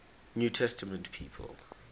new testament people